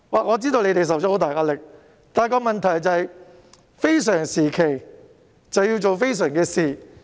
我知道政府承受很大壓力，但問題是，非常時期要做非常的事。